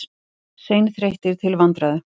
Seinþreyttir til vandræða.